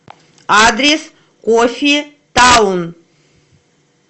адрес кофе таун